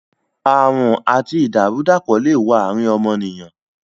Àrùn àti ìdàrú-dàpọ̀ le wo àrín ọmọnìyàn